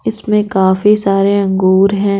इसमें काफी सारे अंगूर हैं।